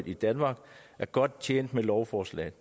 i danmark er godt tjent med lovforslaget